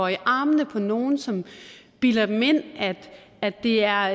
i armene på nogle som bilder dem ind at det er